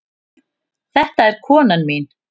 Þetta er konan mín.